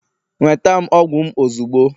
Nweta m ọgwụ m ozugbo!